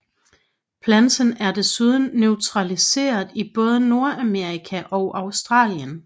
Planten er desuden naturaliseret i Både Nordamerika og Australien